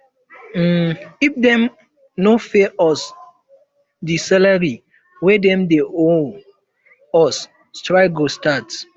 um if dem um no pay us di salary wey dem dey owe um us strike go start